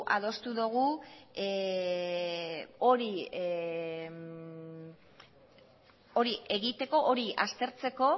adostu dugu hori egiteko hori aztertzeko